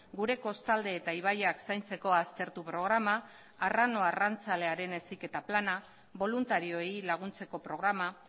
gure kostalde eta ibaiak zaintzeko aztertu programa arrano arrantzalearen heziketa plana boluntarioei laguntzeko programa